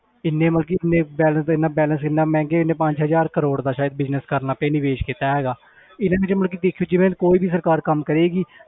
ਇੰਨੇ ਮਤਲਬ ਕਿ ਇੰਨੇ balance ਇੰਨਾ balance ਇੰਨਾ ਮਹਿੰਗੇ ਇੰਨੇ ਪੰਜ ਹਜ਼ਾਰ ਕਰੌੜ ਦਾ ਸ਼ਾਇਦ business ਕਰਨ ਵਾਸਤੇ ਨਿਵੇਸ ਕੀਤਾ ਹੈਗਾ even ਇਹ ਮਤਲਬ ਕਿ ਦੇਖਿਓ ਜਿਵੇਂ ਕੋਈ ਵੀ ਸਰਕਾਰ ਕੰਮ ਕਰੇਗੀ